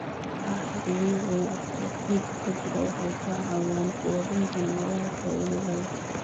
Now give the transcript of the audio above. Walxaha dabiiciga ah ee ciidda ku jira waxay ka caawiyaan quudinta noolaha faa'iidada leh.